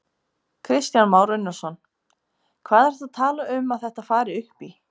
Kristján Már Unnarsson: Hvað ertu að tala um að þetta fari upp í?